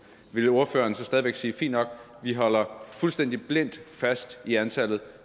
ville ordføreren så stadig væk sige fint nok vi holder fuldstændig blindt fast i antallet